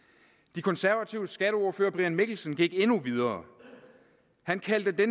de konservatives skatteordfører herre brian mikkelsen gik endnu videre han kaldte det